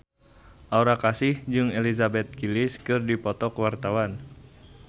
Aura Kasih jeung Elizabeth Gillies keur dipoto ku wartawan